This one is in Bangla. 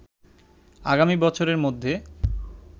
আগামী বছরের মধ্যে